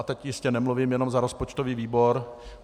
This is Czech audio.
A teď jistě nemluvím jenom za rozpočtový výbor.